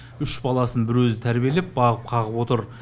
үш баласын бір өзі тәрбиелеп бағып қағып отыр